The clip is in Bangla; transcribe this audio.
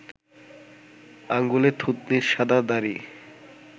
আঙুলে থুতনির শাদা দাড়ি